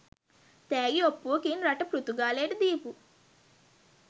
තෑගි ඔප්පුවකින් රට පෘතුගාලයට දීපු